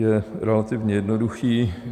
Je relativně jednoduchý.